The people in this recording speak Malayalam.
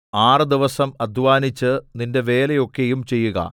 ആറ് ദിവസം അദ്ധ്വാനിച്ച് നിന്റെ വേല ഒക്കെയും ചെയ്യുക